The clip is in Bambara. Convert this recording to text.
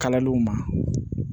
Kalaliw ma